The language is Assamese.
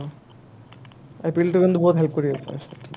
IPL টো কিন্তু বহুত help কৰি আছে ?